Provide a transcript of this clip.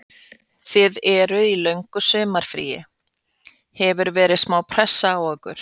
Þið eruð í löngu sumarfríi, hefur verið smá pressa á ykkur?